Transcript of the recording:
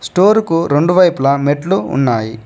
స్టోరుకు రెండు వైపుల మెట్లు ఉన్నాయి.